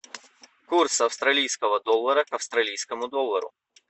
курс австралийского доллара к австралийскому доллару